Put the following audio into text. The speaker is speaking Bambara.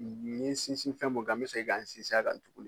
Ni n ye sinsin fɛn min kan n bɛ segin ka n sinsin a kan tuguni